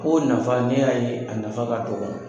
K'o nafa, ne y'a ye a nafa ka dɔgɔn.